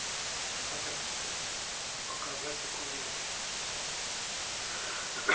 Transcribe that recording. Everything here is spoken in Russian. надо показать документы